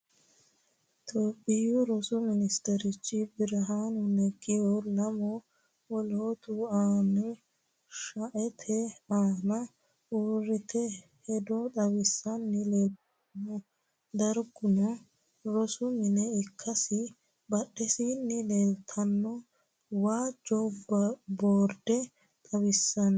Tophiyunnihu rosu Ministerchi Birihaanu Neggihunna lamu woloottu manni shaete aanna uurrite hedo xawissanni leeltanno. Darguno rosu mine ikkasi badheensaanni leeltanno waajjo boorde xawissanno.